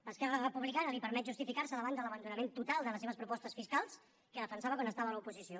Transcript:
a esquerra republicana li permet justificar se davant de l’abandonament total de les seves propostes fiscals que defensava quan estava a l’oposició